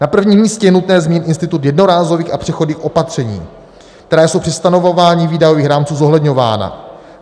Na prvním místě je nutné zmínit institut jednorázových a přechodných opatření, která jsou při stanovování výdajových rámců zohledňována.